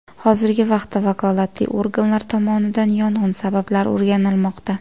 Hozirgi vaqtda vakolatli organlar tomonidan yong‘in sabablari o‘rganilmoqda.